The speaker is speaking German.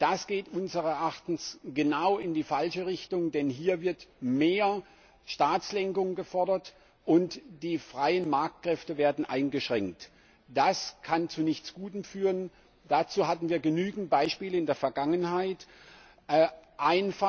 Das geht unseres Erachtens genau in die falsche Richtung, denn hier wird mehr Staatslenkung gefordert, und die freien Marktkräfte werden eingeschränkt. Das kann zu nichts Gutem führen, dazu hatten wir in der Vergangenheit genügend Beispiele.